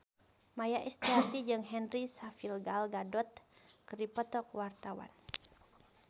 Maia Estianty jeung Henry Cavill Gal Gadot keur dipoto ku wartawan